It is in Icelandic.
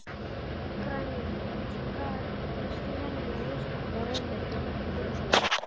Granít er því venjulega ljósgrátt eða rauðleitt með dökkum yrjum.